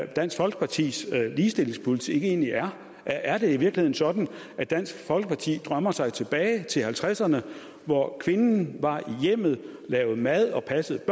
dansk folkepartis ligestillingspolitik egentlig er er er det i virkeligheden sådan at dansk folkeparti drømmer sig tilbage til nitten halvtredserne hvor kvinden var i hjemmet og lavede mad og passede